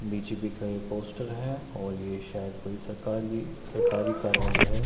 बीच भी का ये पोस्टर है और ऐ शायद कोई सरकारी सरकारी कार्यालय है।